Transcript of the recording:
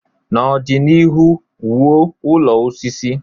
N'ọdịnihu, wuo ụlọ osisi.